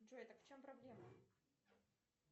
джой так в чем проблема